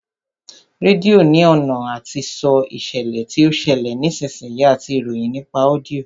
Rédíò ní ọ̀nà àti sọ ìṣẹ̀lẹ̀ tí ó ń ṣẹlẹ̀ ní ìsinsìnyí àti ìròyìn nípa ọ́díọ̀